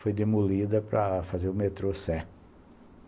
Foi demolida para fazer o metrô Sé.